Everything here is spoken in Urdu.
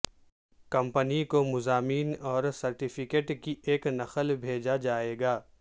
کمپنی کو مضامین اور سرٹیفکیٹ کی ایک نقل بھیجا جائے گا